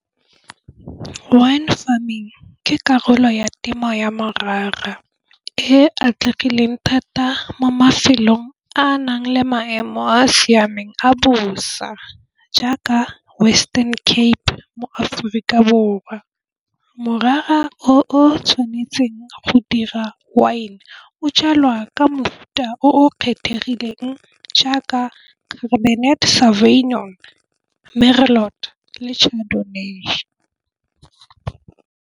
Wine farming ke karolo ya temo ya morara e atlegileng thata mo mafelong a a nang le maemo a a siameng a bosa, jaaka Western Cape mo-Aforika Borwa morara o tshwanetseng go dira wine o jalwa ka mofuta o kgethegileng jaaka Cabernet Sauvignon, Merlot le Chardonnay.